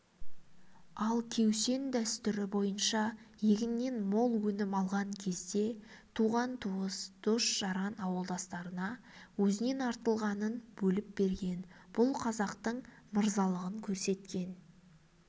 ал кеусен дәстүрі бойынша егіннен мол өнім алған кезде туған-туыс дос-жаран ауылдастарына өзінен артылғанын бөліп берген бұл қазақтың мырзалығын көрсеткен